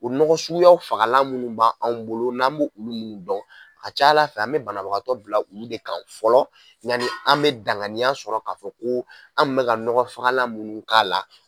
O nɔgɔ suguyaw fagalan minnu b' anw bolo n'an bɛ olu minnu dɔn, an bɛ banabagatɔ bila olu de kan fɔlɔ yani an bɛ danganiya sɔrɔ k'a fɔ ko an tun bɛ ka fala nɔgɔfagalan minnu k'a la.